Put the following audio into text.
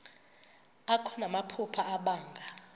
akho namaphupha abanga